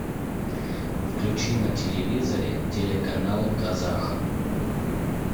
включи на телевизоре телеканал казах